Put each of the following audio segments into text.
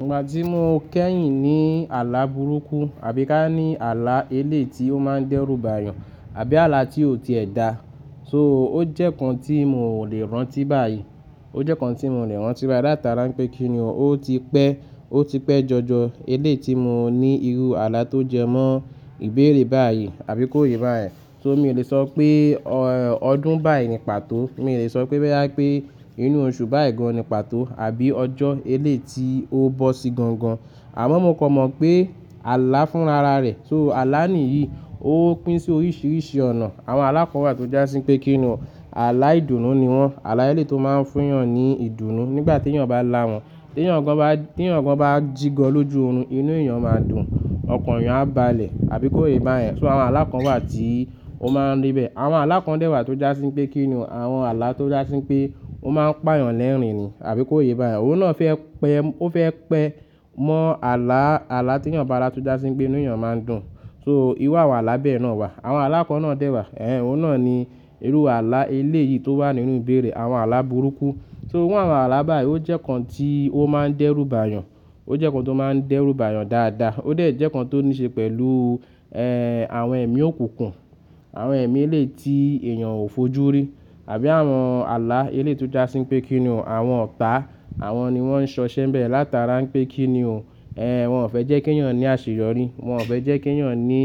Ìgbà tí mo kẹ́yìn ní àlá burúkú àbí ká ní àlá elé ti o máa ń dẹ́rùbà yàn àbí àlá tí ò tiẹ̀ dá, so ó jẹ́ kan tí mo lè rántí báyìí. Ó jẹ́ kan tí mo lè rántí báyìí látara pé kí ni ọ́, ó ti pẹ́, ó ti pẹ́ jọjọ elé tí mo ní irú àlá tó jẹ mọ́ ìbéèrè báyìí àbí kó yé bá yẹn. So mi ò lè sọ pé ọdún báyìí ni pàtó, mi ò lè sọ pé bẹ́rẹ́ pé inú oṣù báyìí gan ni pàtó àbí ọjọ́ elé tí ó bọ́ sí gangan. Àmọ́ mo kọ mọ̀ pé àlá fúnra ara rẹ̀. So àlá nìyí ó pín sí oríṣiríṣi ọ̀nà. Àwọn alákọ̀wà tó jásín pé kí ni ọ́, àlá ìdùnnú ni wọ́n. Àlá elé tó máa ń fún yàn ní ìdùnnú nígbà tí èèyàn bá lá wọ́n. Tí èèyàn gan bá, tí èèyàn gan bá jigọ lójú oorun, inú èèyàn máa dùn, ọkàn èèyàn á balẹ̀ àbí kó yé bá yẹn. So àwọn alákọ̀wà tí ó máa ń rí bẹ́ẹ̀. Àwọn alákọ̀dẹ́wà tó jásín pé kí ni ọ́, àwọn àlá tó jásín pé ó máa ń pa èèyàn lẹ́rìn-ín àbí kó yé bá yẹn. Ó náà fẹ́ pẹ́, ó fẹ́ pẹ́ mọ́ àlá, àlá tí èèyàn bá lá tó jásín pé inú èèyàn máa dùn. So irú àwọn àlá bẹ́ẹ̀ náà wà. Àwọn alákọ̀ náà dẹ́wà. Ẹ̀hẹn, ó náà ni irú àlá elé yìí tó wà nínú ìbéèrè. Àwọn àlá burúkú. So àwọn àlá báyìí ó jẹ́ kan tí ó máa ń dẹ́rùbà yàn. Ó jẹ́ kan tó máa ń dẹ́rùbà yàn dáadáa. Ó dẹ̀ jẹ́ kan tó níí ṣe pẹ̀lú, ẹ́, àwọn ẹ̀mí òkùnkùn, àwọn ẹ̀mí elé tí èèyàn ò fojú rí àbí àwọn àlá elé tó jásín pé kí ni ọ́, àwọn ọ̀tá. Àwọn ni wọ́n ń ṣọṣẹ́ bẹ̀ láta ara ń pé kí ni ọ́. Ẹ̀hẹn, wọ́n ò fẹ́ jẹ́ kí èèyàn ní àṣeyọrí. Wọn ò fẹ́ jẹ́ kí èèyàn ní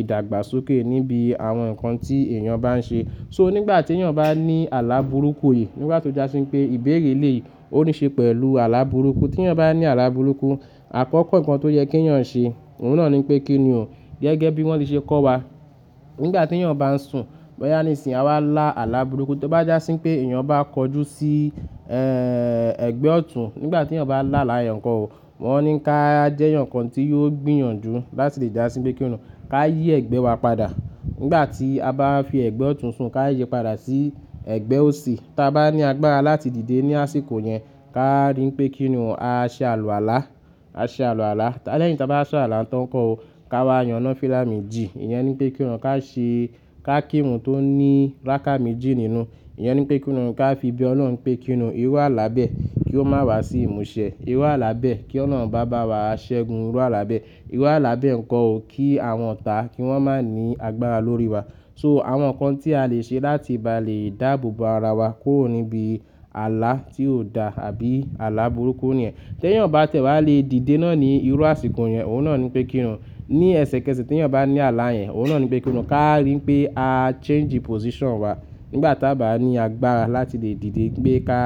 ìdàgbàsókè níbi àwọn nǹkan tí èèyàn bá ń ṣe. So nígbà tí èèyàn bá ní àlá burúkú yìí, nígbà tó jásín pé ìbéèrè elé ó níí ṣe pẹ̀lú àlá burúkú. Tí èèyàn bá ní àlá burúkú, àkọ́kọ́ nǹkan tó yẹ kí èèyàn ṣe, òun náà ni pé kí ni ọ́, gẹ́gẹ́ bí wọ́n ti ṣe kọ́ wa. Nígbà tí èèyàn bá ń sùn, mọ́ yá ní ìsìn, a wá lá àlá burúkú. Tí ó bá jásín pé èèyàn bá kọjú sí, ẹ́, ẹgbẹ́ ọ̀tún, nígbà tí èèyàn bá lá àlá yẹn nǹkan ò, wọ́n ní ká jẹ́ nǹkan tí yóò gbìyànjú láti lè jásín pé kí ni ọ́. Ka yí ẹ̀gbẹ́ wa padà. Nígbà tí a bá fi ẹ̀gbẹ́ ọ̀tún sùn, ká yé padà sí ẹ̀gbẹ́ òsì. Tí a bá ní agbára láti dìde ní àsìkò yẹn, ká rí pé kí ni ọ́, a ṣe àlùàlá, a ṣe àlùàlá. Lẹ́yìn tí a bá sọ àlá nǹkan ò, ká wá yàn nàfílà méjì. Ìyẹn ni pé kí ni ọ́, ká ṣe, ká kírun tó ní ráká méjì nínú. Ìyẹn ni pé kí ni ọ́, ká fi be Ọlọ́run pé kí ni irú àlá bẹ́ẹ̀ kí ó má wá sí ìmúṣẹ. Irú àlá bẹ́ẹ̀ kí olorun bá bá wa ṣẹ́gun. Irú àlá bẹ́ẹ̀. Irú àlá bẹ́ẹ̀ ǹkò o kí àwọn ọ̀tá kí wọ́n má ní agbára lórí wa. So àwọn nǹkan tí a lè ṣe láti bá lè dáàbò bo ara wa kúrò níbi àlá tí ò dá àbí àlá burúkú nìyẹn. Tí èèyàn bá tẹ̀ wá lè dìde náà ní irú àsìkò yẹn, òun náà ni pé kí ni ọ́, ní ẹsẹ kẹsẹ̀ tí èèyàn bá ní àlá yẹn, òun náà ni pé kí ni ọ́, ká rí pé a change position wa. Nígbà tí a bá ní agbára láti lè dìde gbé ká,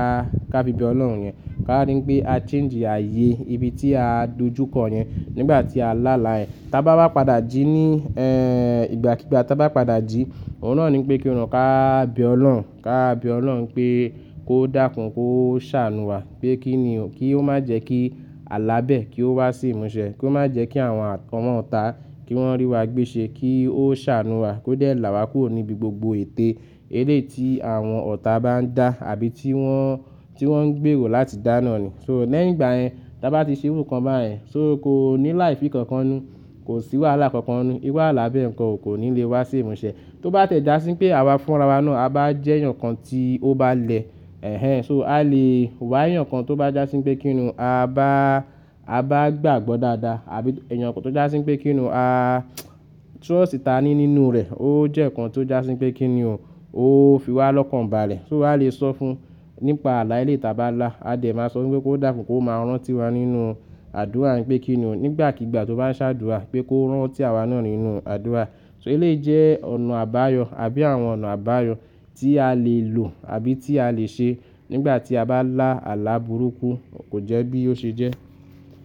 ká fi bí Ọlọ́run yẹn, ká rí pé a change ààyè ibi tí a dojúkọ yẹn nígbà tí a lá àlá yẹn. Tí a bá wá padà jí ní, ẹ́, ìgbà kigbà tí a bá padà jí, òun náà ni pé kí ni ọ́, ká be Ọlọ́run, ká be Ọlọ́run pé kó dàkún, kó ṣàánú wa. Pé kí ni ọ́, kí ó má jẹ́ kí àlá bẹ́ẹ̀ kí ó wá sí ìmúṣẹ. Kí ó má jẹ́ kí àwọn ọ̀tá kí wọ́n rí wa gbéṣẹ́. Kí ó ṣàánú wa. Kí ó dẹ̀ là wa kúrò níbi gbogbo ètè elé tí àwọn ọ̀tá bá ń dá àbí tí wọ́n, tí wọ́n ń gbèrò láti dá náà ni. So lẹ́yìn ìgbà yẹn tí a bá ti ṣe irú nǹkan báyen, so kò ní láìfi kankan nu. Kò sí wàhálà kankan nu. Irú àlá bẹ́ẹ̀ nǹkan ò kò ní lè wá sí ìmúṣẹ. Tí ó bá tie já sí pé àwa fúnra ara wa náà, a bá jẹ́ enyan kan tí ó bá lẹ. Ẹ̀hẹn, so a lè wá ìyàn kan tó bá jásín pé kí ni ọ́, a bá, a bá gbàgbọ́ dáadáa àbí ẹnìyàn kan tó jásín pé kí ni ọ́, a trust ta ní nínú rẹ̀. Ó jẹ́ nǹkan tí ó jásín pé kí ni ọ́, ó fi wá lọ́kàn bá a le. So a lè sọ fún nípa àlá elé tí a bá lá. A dẹ̀ máa sọ pé kó dàkún, kó máa rántí wa nínú àdúrà ń pé kí ni ọ́, nígbàkigbà tí ó bá ń ṣàdúrà pé kó rán ọ́ tí àwa náà nínú àdúrà. So elé jẹ́ ọ̀nà àbáyọ àbí àwọn ọ̀nà àbáyọ tí a lè lò àbí tí a lè ṣe nígbà tí a bá lá àlá burúkú kò jẹ́ bí ó ṣe jẹ́.